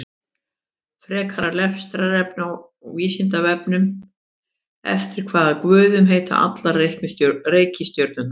Frekara lesefni á Vísindavefnum: Eftir hvaða guðum heita allar reikistjörnurnar?